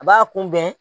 A b'a kunbɛn